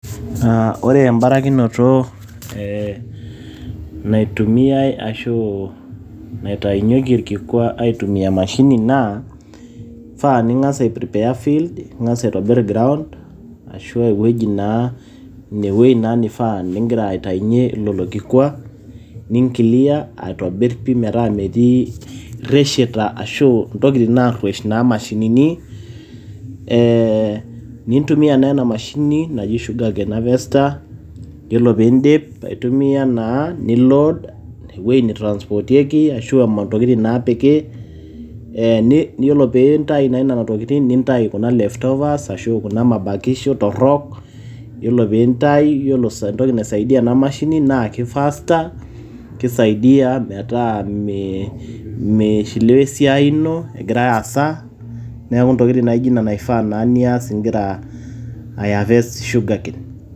Ore embarakinoto naitumiae ashu, naitayunyeki olkikwa aitayunye emashini naa faa ningas aiprepare field, ningas aitobirr ground, ashu eweji naa, ineweji naa neifaa nigira ataunye ilo kikwa, ninclear aitobirr pi metaa metii irishita ashu intokiting narwesh imashinini. NItumia emashini naji Sugarcane harvester iyiolo pii dip aitumia naa, nilo ineweji naitransportieki ashu intokiting naa piki. nintayu kuna leftovers, ashu kunamabakisho torok, iyiolo naisaidia ena mashini naa keifaster, naa keisaidia metaa meishiliwa esiai ino egira aasa neaku intokiti naijo ina eifaa igira aihaverst sugarcane.